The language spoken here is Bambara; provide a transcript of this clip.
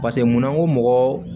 Paseke munna ko mɔgɔ